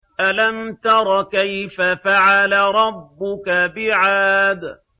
أَلَمْ تَرَ كَيْفَ فَعَلَ رَبُّكَ بِعَادٍ